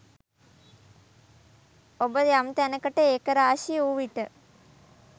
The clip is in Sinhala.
ඔබ යම් තැනකට ඒකරාශී වූ විට